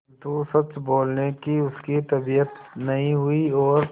किंतु सच बोलने की उसकी तबीयत नहीं हुई और